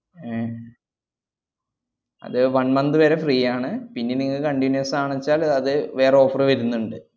ഏർ അത് one month വരെ free ആണ് പിന്നെ നിങ്ങക്ക് continuous ആണെച്ചാല്‍ അത് വേറെ offer വരുന്നുണ്ട്.